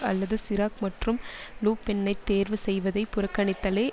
அல்லது சிராக் மற்றும் லு பென்னைத் தேர்வு செய்வதைப் புறக்கணித்தலை